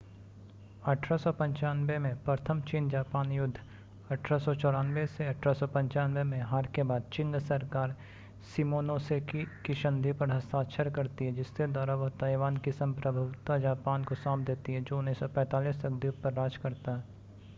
1895 में प्रथम चीन-जापान युद्ध 1894-1895 में हार के बाद चिंग सरकार शिमोनोसेकी की संधि पर हस्ताक्षर करती है जिसके द्वारा वह ताइवान की संप्रभुता जापान को सौंप देती है जो 1945 तक द्वीप पर राज करता है।